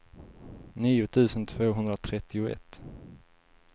nio tusen tvåhundratrettioett